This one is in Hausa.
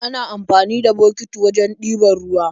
Ana amfani da bokiti wajen ɗiban ruwa